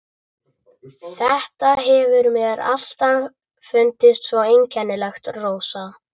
Þetta hefur mér alltaf fundist svo einkennilegt, Rósa.